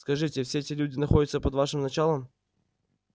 скажите все эти люди находятся под вашим началом